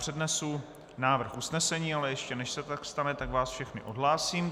Přednesu návrh usnesení, ale ještě než se tak stane, tak vás všechny odhlásím.